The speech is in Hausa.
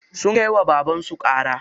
Sun kai wa babansu ƙara.